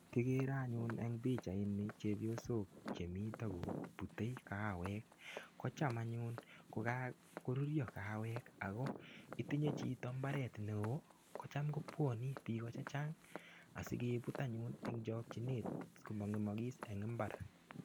Kigere anyun eng pichaini chepiosok chemito kupute kawek. Kocham anyun ko kagorurio kawek ago, itinye chito imbaret neo kocham kopwani biiko che chang asikeput anyun eng chokchinet komangemagis eng imbar.